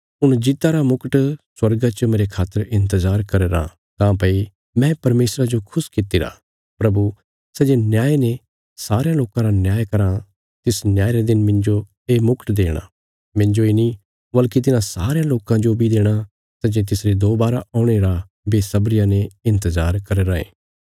हुण जीता रा मुकुट स्वर्गा च मेरे खातर इन्तजार करया राँ काँह्भई मैं परमेशरा जो खुश कित्तिरा प्रभु सै जे न्याय ने सारयां लोकां रा न्याय कराँ तिस न्याय रे दिन मिन्जो ये मुकट देणा मिन्जो इ नीं वल्कि तिन्हां सारयां लोकां जो बी देणा सै जे तिसरे दोवारा औणे रा बेशबरिया ने इन्तजार करया राँये